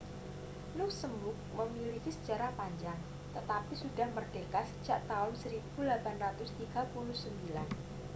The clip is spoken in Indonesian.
luksemburg memiliki sejarah panjang tetapi sudah merdeka sejak tahun 1839